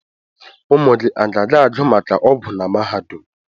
Ụmụ gị a ga-agụ maka ọgwụ na mahadum?